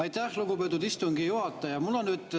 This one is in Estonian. Aitäh, lugupeetud istungi juhataja!